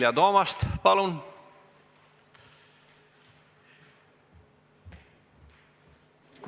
Vilja Toomast, palun!